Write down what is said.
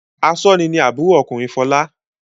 Aṣọ́ni ni àbúrò ọkùnrin Fọlá.